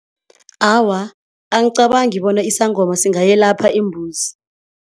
Awa, angicabangi bona isangoma singayelapha imbuzi.